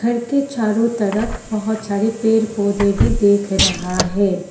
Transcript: घर के चारों तरफ बहुत सारे पेड़ पौधे भी देख रहा है।